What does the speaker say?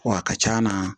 Wa a ka c'a na